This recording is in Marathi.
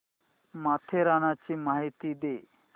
माथेरानची माहिती दे